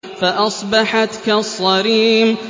فَأَصْبَحَتْ كَالصَّرِيمِ